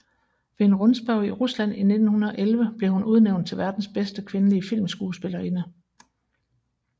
Ved en rundspørge i Rusland i 1911 blev hun udnævnt til verdens bedste kvindelige filmskuespillerinde